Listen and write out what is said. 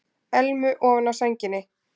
Elmu ofan á sænginni.